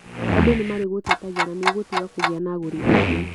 andũ nĩ marĩgũtetagia na nĩ ũgũtiga kũgĩa na agũri aingĩ.